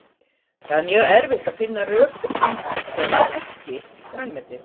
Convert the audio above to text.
Það er mjög erfitt að finna rök fyrir því að borða EKKI grænmeti.